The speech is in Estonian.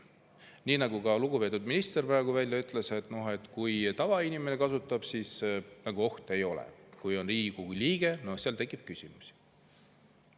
Nii nagu ka lugupeetud minister praegu välja ütles, kui tavainimene neid seadmeid kasutab, siis ohtu ei ole, kui aga Riigikogu liige seda teeb, siis tekib küsimusi.